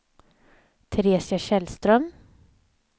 Teresia Källström